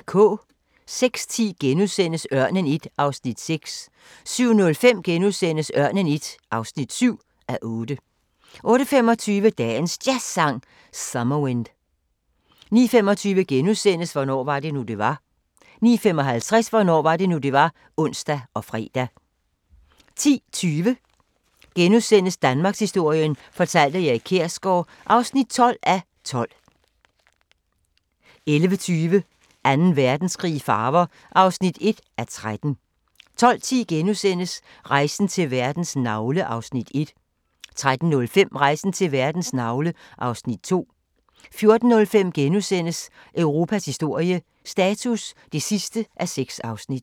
06:10: Ørnen I (6:8)* 07:05: Ørnen I (7:8)* 08:25: Dagens Jazzsang: Summer Wind 09:25: Hvornår var det nu det var * 09:55: Hvornår var det nu det var (ons og fre) 10:20: Danmarkshistorien fortalt af Erik Kjersgaard (12:12)* 11:20: Anden Verdenskrig i farver (1:13) 12:10: Rejsen til verdens navle (Afs. 1)* 13:05: Rejsen til verdens navle (Afs. 2) 14:05: Europas historie – status (6:6)*